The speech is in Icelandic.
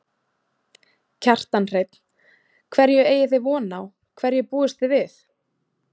Kjartan Hreinn: Hverju eigi þið von á, hverju búist þið við?